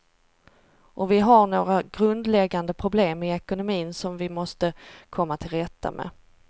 Och vi har några grundläggande problem i ekonomin som vi måste komma till rätta med.